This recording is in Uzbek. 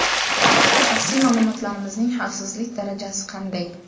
Shaxsiy ma’lumotlarimizning xavfsizlik darajasi qanday?